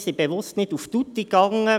Wir gingen bewusst nicht auf tutti.